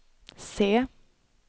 se